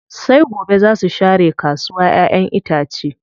Sai gobe zaa su share kasuwa ƴaƴen itace.